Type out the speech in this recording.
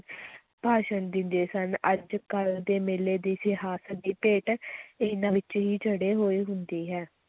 ਭਾਸ਼ਣ ਦਿੰਦੇ ਸਨ, ਅੱਜ-ਕੱਲ੍ਹ ਦੇ ਮੇਲੇ ਦੀ ਸਿਆਸਤ ਦੀ ਭੇਟ ਇਹਨਾਂ ਵਿੱਚ ਹੀ ਚੜ੍ਹੇ ਹੋਏ ਹੁੰਦੀ ਹੈ।